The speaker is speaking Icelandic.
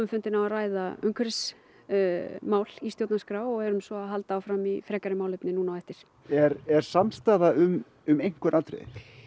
fundinn á að ræða umhverfismál í stjórnarskrá og erum svo að halda áfram í frekari málefni nú á eftir er er samstaða um um einhver atriði